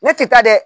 Ne tɛ taa dɛ